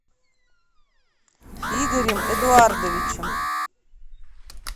игорем эдуардовичем